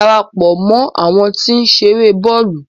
Darapọ̀ mọ àwọn ti o nṣere bọọlu!